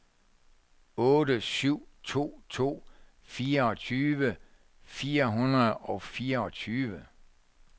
otte syv to to fireogtyve fire hundrede og fireogtyve